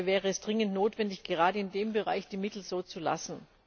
Dabei wäre es dringend notwendig, gerade in dem Bereich die Mittel so zu belassen.